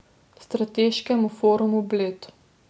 Strateškem forumu Bled.